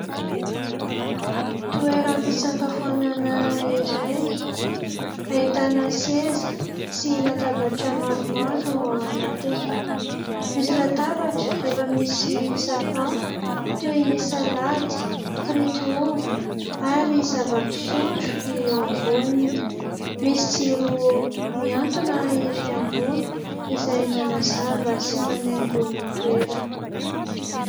Toeram-pisakafoanana iray ahitana seza sy latabatra maromaro ao anatiny, misy latabatra efa misy sakafo toy ny salady, firity ovy ary zava-pisotro eo amboniny ; misy jiro miantona ery ambony izay manazava sy manaingo ny toerana.